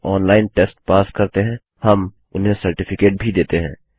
जो online test pass करते हैं हम उन्हें सर्टिफिकेट भी देते हैं